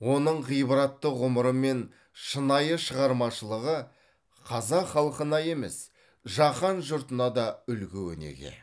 оның ғибратты ғұмыры мен шынайы шығармашылығы қазақ халқына емес жаһан жұртына да үлгі өнеге